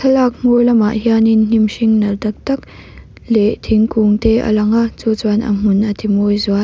thlalak hnung lamah hianin hnim hring nalh tak tak leh thingkung te a lo lang a chu chuan a hmun a ti mawi zual.